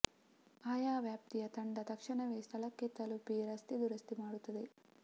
ಆಯಾ ವ್ಯಾಪ್ತಿಯ ತಂಡ ತಕ್ಷಣವೇ ಸ್ಥಳಕ್ಕೆ ತಲುಪಿ ರಸ್ತೆ ದುರಸ್ತಿ ಮಾಡುತ್ತದೆ